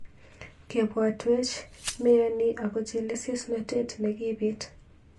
Kebotwech meani ako chelesosnotet nekibit.